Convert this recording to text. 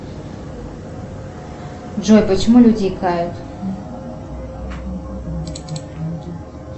джой почему люди икают